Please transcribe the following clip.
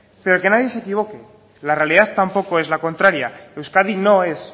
pero que nadie se equivoque la realidad tampoco es la contraria euskadi no es